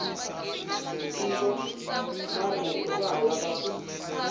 ntivomarito wa ha lava ku